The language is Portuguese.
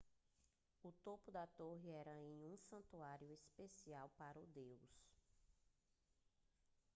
o topo da torre era um santuário especial para o deus